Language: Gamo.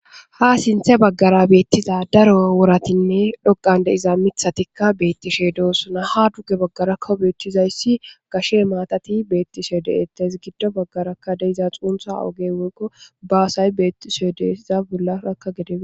ha sinthe baggara beettiza daro woratinne dhoqande iza mithatikka beettishe doossona ha dugge baggara kowobeechchizayssi gashe maatati beettiso deettes giddo baggarakka deiza xuuntha oge woykko baasay beettiso deeiza bollarakka gedebe